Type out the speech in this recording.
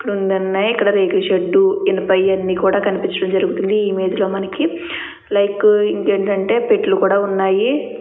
రెండు ఉన్నాయి ఇక్కడ రేకుల షెడ్డు ఇనుపయన్నీ కనిపించడం జరుగుతోంది. ఇమేజ్ లో మనకి లైక్ ఇంకేంటంటే పెట్టలు కూడా ఉన్నాయి.